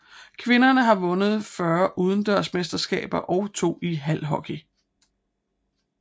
Kvinderne har vundet 40 udendørsmesterskaber og 2 i halhockey